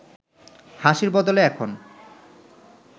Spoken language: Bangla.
হাসির বদলে এখন